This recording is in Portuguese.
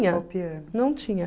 não tinha.